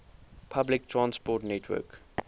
public transport network